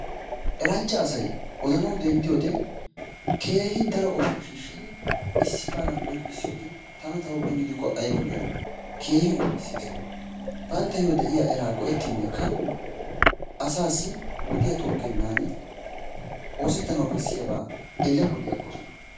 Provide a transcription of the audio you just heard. Eranchcha asay odanawu denddiyode keehin daro qofaa shiishidi issi qaalaa qonccisiyoogee tana ta huuphphe gidikko ayba lo'ii. Keehii ufayssees. Banttayo de'iya eraa go'ettinnekka asaassi wodiya xuugennan oosettanawu bessiyaabaa eli poli agoosona.